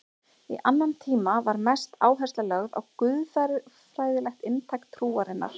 Í annan tíma var mest áhersla lögð á guðfræðilegt inntak trúarinnar.